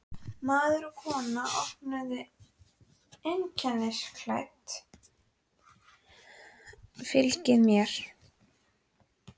Maður og kona, vopnuð og einkennisklædd, fylgdu mér.